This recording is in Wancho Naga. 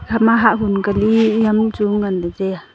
hama hah hun ka li yam chu ngan ley taiya.